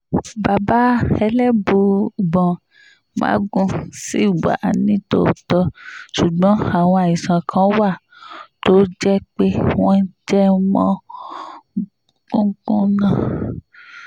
bàbá elébùíbọn magun ṣì wà nítòótọ́ ṣùgbọ́n àwọn àìsàn kan wà tó jẹ́ pé wọ́n jẹ mọ́ gungun náà